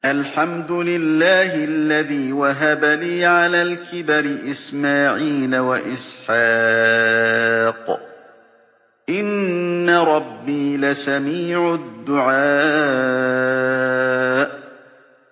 الْحَمْدُ لِلَّهِ الَّذِي وَهَبَ لِي عَلَى الْكِبَرِ إِسْمَاعِيلَ وَإِسْحَاقَ ۚ إِنَّ رَبِّي لَسَمِيعُ الدُّعَاءِ